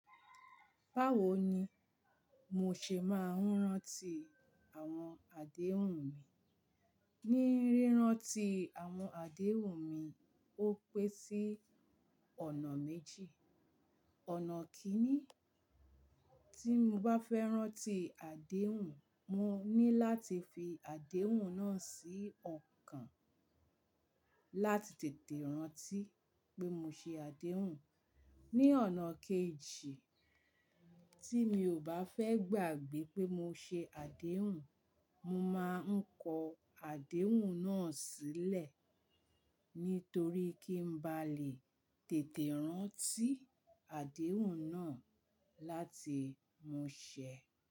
Báwo ni mo ṣe máa ń rántí àwọn àdéhùn mi? Ni rírántí àwọn àdéhùn mi, ó pẹ́ sí ọ̀nà méjì. Ọ̀nà kíní, tí mo bá fẹ́ rántí àdéhùn, mo ní láti fi àdéhùn náà sí ọkàn láti tètè rántí pé mo ṣe àdéhùn. Ni ọ̀nà kejì, tí mi ò bá fẹ́ gbàgbé pé mo ṣe àdéhùn, mo máa ń kọ àdéhùn náà sílẹ̀ nítorí kí n bá lè tètè rántí àdéhùn náà láti mú ṣẹ.